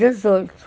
Dezoito.